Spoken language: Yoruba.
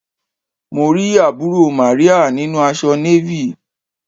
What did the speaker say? Mo rí àbúrò Màríà nínu aṣọ Navy.